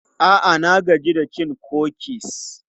A'a, na gaji da cin kukis.